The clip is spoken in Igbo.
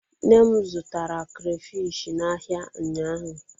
Nne m zụtara krafish n'ahịa ụnyaahụ.